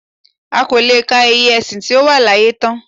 A kò lè ka iye ẹ̀sìn tí ó wà láyé tán